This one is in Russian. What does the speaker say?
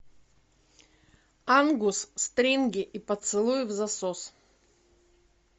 ангус стринги и поцелуи взасос